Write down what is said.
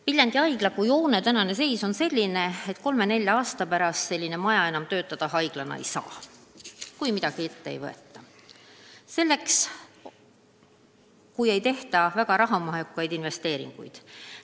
Viljandi haiglahoone tänane seis on selline, et 3–4 aasta pärast selline maja enam haiglana töötada ei saa, kui midagi ette ei võeta, kui ei tehta väga suuri investeeringuid.